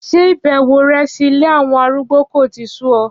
Ṣé ìbẹ̀wò rẹ sí ilé àwọn arúgbó kò tíì sú ọ.